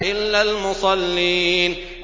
إِلَّا الْمُصَلِّينَ